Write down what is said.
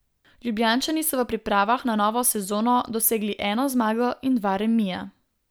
Ljubljančani so v pripravah na novo sezono dosegli eno zmago in dva remija.